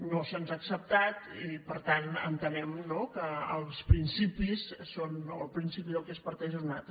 no se’ns ha acceptat i per tant entenem no que el principi del qual es parteix és un altre